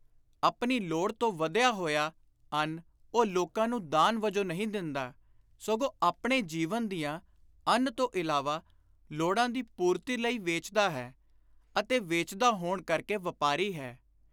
ਆਪਣੀ ਲੋੜ ਤੋਂ ਵਧਿਆ ਹੋਇਆ ਅੰਨ ਉਹ ਲੋਕਾਂ ਨੂੰ ਦਾਨ ਵਜੋਂ ਨਹੀਂ ਦਿੰਦਾ, ਸਗੋਂ ਆਪਣੇ ਜੀਵਨ ਦੀਆਂ, ਅੰਨ ਤੋਂ ਇਲਾਵਾ, ਲੋੜਾਂ ਦੀ ਪੁਰਤੀ ਲਈ ਵੇਚਦਾ ਹੈ; ਅਤੇ ਵੇਚਦਾ ਹੋਣ ਕਰਕੇ ਵਾਪਾਰੀ ਹੈ।